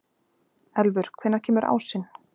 Elfur, hvenær kemur ásinn?